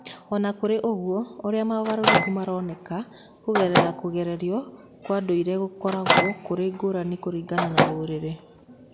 O na kũrĩ ũguo, ũrĩa mogarũrũku maronekaga kũgerera kũgererio kwa ndũire gũkoragwo kũrĩ ngũrani kũringana na rũrĩrĩ.